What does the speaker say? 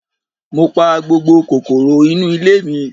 Mo pa gbogbo kòkòrò inú ilé mi.